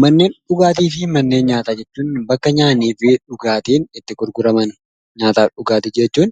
Manneen dhugaatii fi manneen nyaataa jechuun bakka nyaannii fi dhugaatiin itti gurguraman. Nyaataa fi dhugaatii jechuun